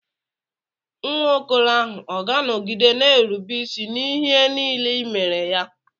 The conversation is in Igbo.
Nwa okoro ahụ ọ̀ ga-anọgide na-erube isi n'ihe n'ile I mere ya?